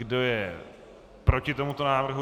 Kdo je proti tomuto návrhu?